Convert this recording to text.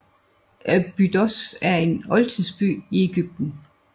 Abydos er en oldtidsby i Egypten